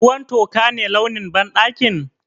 Ruwan toka ne launin banɗakin?